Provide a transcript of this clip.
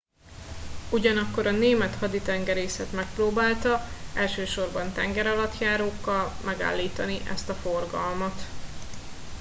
ugyanakkor a német haditengerészet megpróbálta elsősorban tengeralattjárókkal megállítani ezt a forgalmat